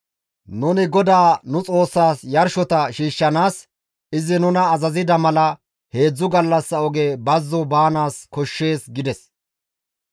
Nuni GODAA nu Xoossaas yarshota shiishshanaas izi nuna azazida mala heedzdzu gallassa oge bazzo baanaas koshshees» gides.